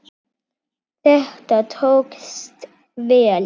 Þetta tókst vel.